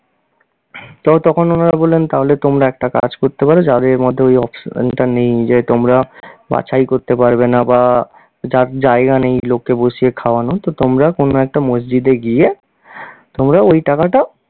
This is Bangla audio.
তো তখন ওনারা বললেন তাহলে তোমরা একটা কাজ করতে পারো যাদের মধ্যে যাদের মধ্যে ওই option টা নেই যে তোমরা বাছাই করতে পারবে না বা জা~ জায়গা নেই লোককে বসিয়ে খাওয়ানোর তো তোমরা কোন একটা মসজিদে গিয়ে, তোমরা ওই টাকাটা